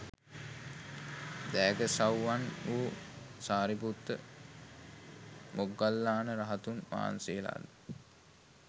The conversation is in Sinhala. දෑගසව්වන් වූ සාරිපුත්ත, මොග්ගල්ලාන රහතුන් වහන්සේලාද